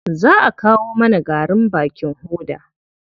Za a kawo mana garin bakin hoda.